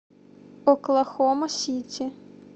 оклахома сити